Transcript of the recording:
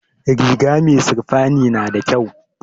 Riga mai sirfani nada kyau